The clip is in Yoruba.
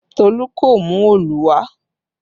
Tolu kò mú Òòlù wà